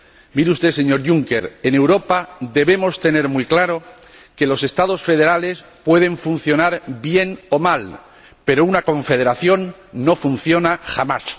Mire usted, señor Juncker, en Europa debemos tener muy claro que los Estados federales pueden funcionar bien o mal, pero una confederación no funciona jamás.